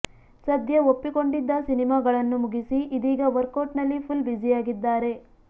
ಸದ್ಯ ಒಪ್ಪಿಕೊಂಡಿದ್ದ ಸಿನಿಮಾಗಳನ್ನು ಮುಗಿಸಿ ಇದೀಗಾ ವರ್ಕೌಟ್ ನಲ್ಲಿ ಫುಲ್ ಬ್ಯುಸಿಯಾಗಿದ್ದಾರೆ